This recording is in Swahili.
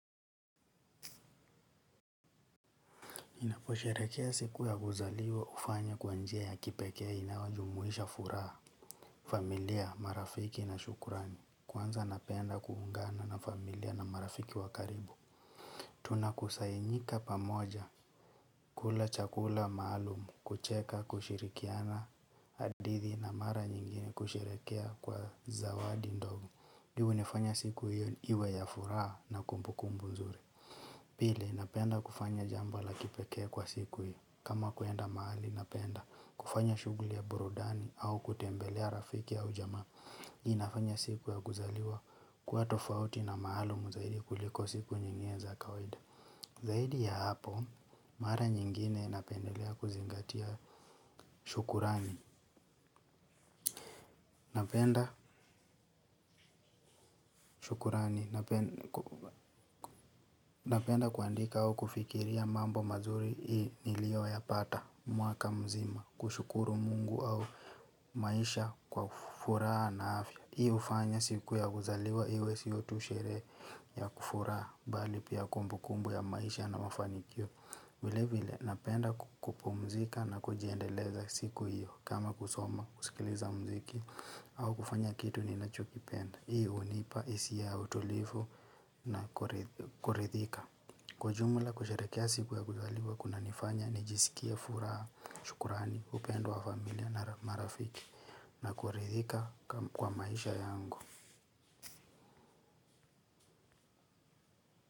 Ninaposherehekea siku ya kuzaliwa hufanya kwa njia ya kipekee inayojumuisha furaha. Familia, marafiki na shukurani. Kwanza napenda kuungana na familia na marafiki wa karibu tunakusanyika pamoja kula chakula maalum, kucheka na kushirikiana hadithi na mara nyingine kusherehekea kwa zawadi ndogo hii hunifanya siku hiyo iwe ya furaha na kumbu kumbu nzuri. Pili, napenda kufanya jambo la kipekee kwa siku hiyo. Kama kuenda mahali napenda kufanya shughuli ya burudani au kutembelea rafiki au jamaa. Hii inafanya siku ya kuzaliwa kuwa tofauti na maalumu zaidi kuliko siku nyingine za kawaida zaidi ya hapo, mara nyingine napenda kuzingatia shukrani. Napenda kuandika au kufikiria mambo mazuri hii nilioyapata mwaka mzima. Kushukuru mungu au maisha kwa furaha na afya. Hii hufanya siku ya kuzaliwa, iwe sio tu sherehe ya kufura bali pia kumbu kumbu ya maisha na mafanikio. Vile vile, napenda ku kupumzika na kujiendeleza siku hiyo kama kusoma, kusikiliza mziki au kufanya kitu ninachokipenda. Hii hunipa, hisia ya utulivu na kuridhika. Kwa ujumula kusherehekea siku ya kuzaliwa kunanifanya, nijisikie furaha, shukurani, upendo wa familia na marafiki. Na kuridhika kwa maisha yangu.